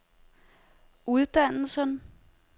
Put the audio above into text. uddannelsen